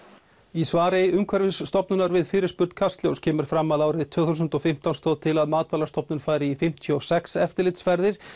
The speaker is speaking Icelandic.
í svari Umhverfisstofnunar við fyrirspurn Kastljós kemur fram að árið tvö þúsund og fimmtán stóð til að Matvælastofnun færi í fimmtíu og sex eftirlitsferðir